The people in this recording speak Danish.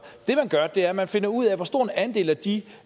er at man finder ud af hvor stor en andel af de